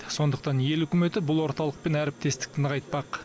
сондықтан ел үкіметі бұл орталықпен әріптестікті нығайтпақ